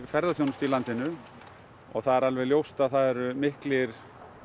ferðaþjónustu í landinu og það er alveg ljóst að það eru miklir